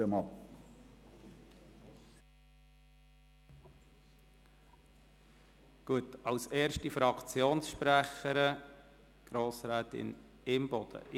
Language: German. Als erste Fraktionssprecherin hat Grossrätin Imboden für die Grünen das Wort.